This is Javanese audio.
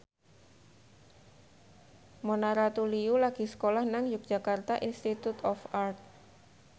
Mona Ratuliu lagi sekolah nang Yogyakarta Institute of Art